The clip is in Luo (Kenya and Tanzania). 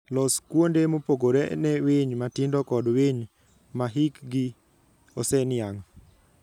Los kuonde mopogore ne winy matindo kod winy ma hikgi oseniang'.